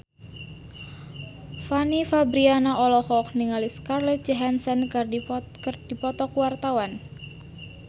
Fanny Fabriana olohok ningali Scarlett Johansson keur diwawancara